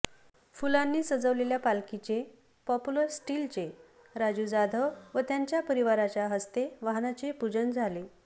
फुलांनी सजवलेल्या पालखीचे पॉप्युलर स्टिलचे राजु जाधव व त्यांच्या परिवाराच्या हस्ते वाहनाचे पुजन झाले